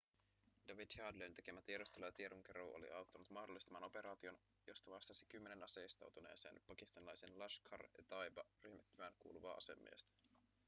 david headleyn tekemä tiedustelu ja tiedonkeruu oli auttanut mahdollistamaan operaation josta vastasi kymmenen aseistautuneeseen pakistanilaiseen laskhar-e-taiba-ryhmittymään kuuluvaa asemiestä